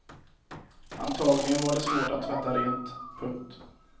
Antagligen var det svårt att tvätta rent. punkt